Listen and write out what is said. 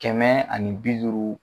Kɛmɛ ani bi duuru